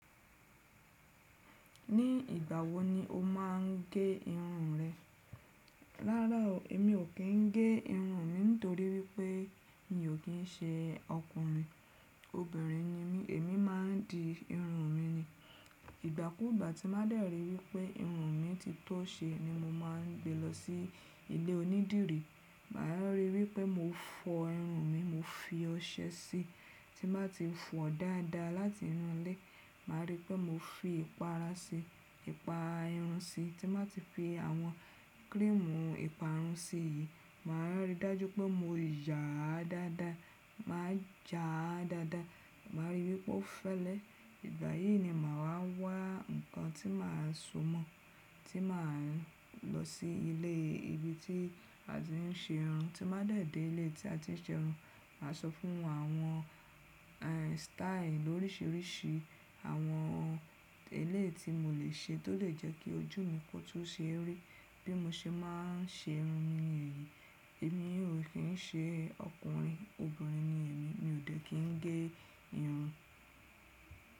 Ní ìgbà wo ni o má n gé irun rẹ? Ráarà o èmi ó kín gé irun mi nítorí wípé mi ò kín ṣe ọkùnrin, obìnrin ni mí, èmi má n di irun mi ni. Ìgbàkúgbà tí má dẹ̀ ríi wípé irun mi ti tọ́ ṣe ni mo má n gbé lọ sí ilé onídìrí. Màá ríi wípé mo fọ irun mi, mo fi ọṣẹ sí i tí mbá ti fọ̀ dáadáa láti inú ilé, màá ríi wípé mo fi ìpara sí i, ìpa irun sí i tí mbá ti fi àwọn krimù ìparun sí i, màá rí i dájú pé mo yà á dáadáa, màá ya a dáadáa, màá ríi wípé ó fẹ́lẹ́. Ìgbà yìí ni màá wá wá ǹkan tí màá sọ mọ̀, tí màá lọ sí ilé ibi tí a ti ń ṣe irun. Tí mbá dẹ̀ dé ilé tí a ti ń ṣe irun, màá sọ fún wọn àwọn style lóríṣiríṣi àwọn irun ẹ̀léyì ti mò lè ṣe tó lè jẹ́ kí ojú mi kó tún ṣe rí bí mo ṣe má n ṣe irun mi ẹyí. Èmi ò kín ṣe ọkùnrin, obìnrin ni èmi, mi ò dé kín n gé irun.